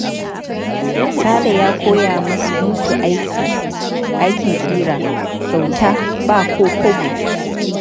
Sale ya koya musu aikin ƙira kyauta ba ko kwabo.